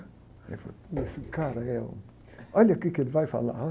Aí ele falou, ih, esse cara aí é um... Olha o quê que ele vai falar.